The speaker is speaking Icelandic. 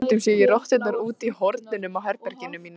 Stundum sé ég rotturnar úti í hornunum á herberginu mínu.